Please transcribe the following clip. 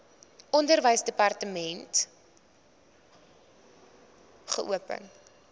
onderwysdepartement wkod geopen